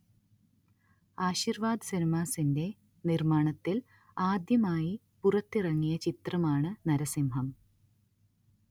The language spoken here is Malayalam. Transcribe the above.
ആശീർവാദ് സിനിമാസിന്റെ നിർമ്മാണത്തിൽ ആദ്യമായി പുറത്തിറങ്ങിയ ചിത്രമാണ് നരസിംഹം